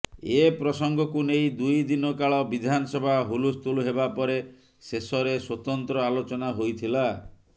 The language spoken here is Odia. ଏ ପ୍ରସଙ୍ଗକୁ ନେଇ ଦୁଇ ଦିନ କାଳ ବିଧାନସଭା ହୁଲସ୍ତୁଲ ହେବା ପରେ ଶେଷରେ ସ୍ୱତନ୍ତ୍ର ଆଲୋଚନା ହୋଇଥିଲା